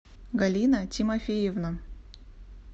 галина тимофеевна